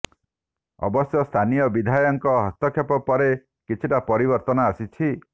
ଅବଶ୍ୟ ସ୍ଥାନୀୟ ବିଧାୟକଙ୍କ ହସ୍ତକ୍ଷେପ ପରେ କିଛିଟା ପରିବର୍ତ୍ତନ ଆସିଛି